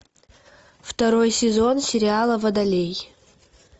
второй сезон сериала водолей